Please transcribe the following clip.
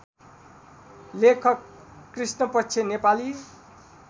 लेखक कृष्णपक्ष नेपाली